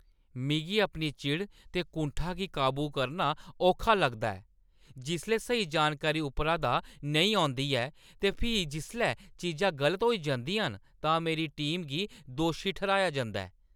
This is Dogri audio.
मिगी अपनी चिड़ ते कुंठा गी काबू करना औखा लग्गा दा ऐ जिसलै स्हेई जानकारी उप्परा दा नेईं औंदी ऐ ते फ्ही जिसलै चीजां गलत होई जंदियां न तां मेरी टीमें गी दोशी ठर्‌हाया जंदा ऐ।